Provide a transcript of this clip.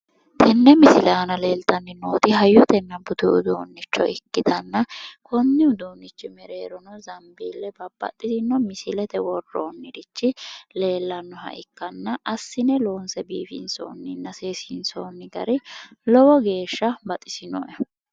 Tenne misile aana leeltanni nooti hayyotenna budu uduunnicho ikkitanna konni uduunnichira mereerono zambiille ikko babbaxitino misilete worroonnirichi leellannoha ikkanna assine loonse biifinsoonninna seesiinsoonni gari lowo geeshsha baxisinoe.